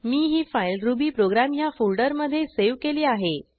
मी ही file ruby program ह्या फोल्डरमधे सेव्ह केली आहे